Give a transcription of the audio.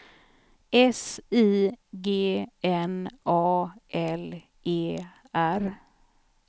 S I G N A L E R